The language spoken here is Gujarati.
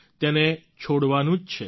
તેને છોડવાનું જ છે